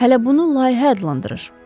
Hələ bunu layihə adlandırır.